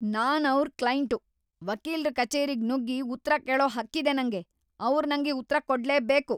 ನಾನ್ ಅವ್ರ್‌ ಕ್ಲೈಂಟು! ವಕೀಲ್ರ ಕಚೇರಿಗ್ ನುಗ್ಗಿ ಉತ್ರ ಕೇಳೋ ಹಕ್ಕಿದೆ ನಂಗೆ! ಅವ್ರ್‌ ನಂಗೆ ಉತ್ರ ಕೊಡ್ಲೇಬೇಕು!